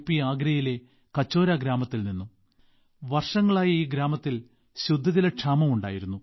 ആഗ്രയിലെ കച്ചോര ഗ്രാമത്തിൽനിന്നും വർഷങ്ങളായി ഈ ഗ്രാമത്തിൽ ശുദ്ധജലക്ഷാമം ഉണ്ടായിരുന്നു